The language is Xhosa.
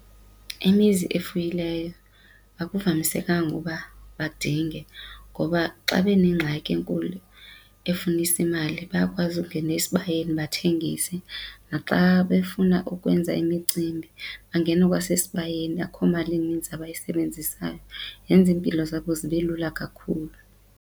Imizi ofuyileyo akuvamisekanga ukuba badinge ngoba xa benengxaki enkulu efunisa imali bayakwazi ukungena esibayeni bathengise, naxa befuna ukwenza imicimbi bangene kwasesibayeni akukho mali ininzi abayisebenzisayo. Yenza iimpilo zabo zibe lula kakhulu.